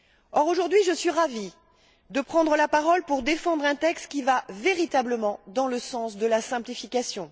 Or, aujourd'hui, je suis ravie de prendre la parole pour défendre un texte qui va véritablement dans le sens de la simplification.